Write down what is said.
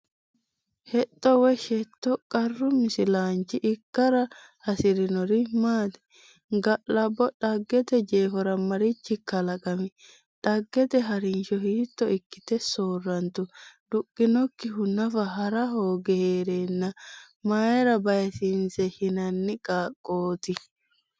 Hexxo woy Shetto Qaru misilaanchi ikkara hasi’rinori maati? Ga’labbo Dhaggete jeefora marichi kalaqami? Dhaggete ha’rinsho hiitto ikkite soorrantu? duhinokkihu nafa ha’ra hooge hee’reenna mayra baysiinse shinanni qaaqqooti?